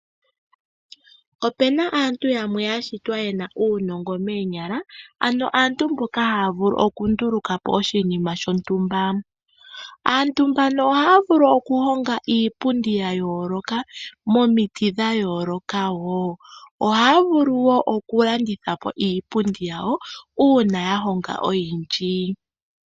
Opuna aantu yamwe ya shitwa ye na uunongo moonyala, ano aantu mboka haya vulu okunduluka po oshinima shontumba. Aantu mbano ohaya vulu okuhonga iipundi ya yooloka momiti dha yooloka wo. Ohaya vulu wo okulandithapo iipundi yawo uuna ya honga oyindji.